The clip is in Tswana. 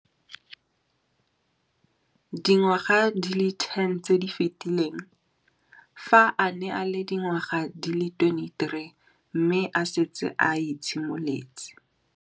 Dingwaga di le 10 tse di fetileng, fa a ne a le dingwaga di le 23 mme a setse a itshimoletse